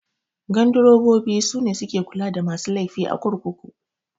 Gandurobobi sune suke kula da masu laifi a kurkuku